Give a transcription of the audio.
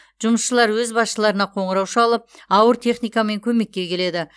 жұмысшылар өз басшыларына қоңырау шалып ауыр техникамен көмекке келеді